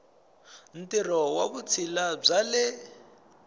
ntirho wa vutshila bya le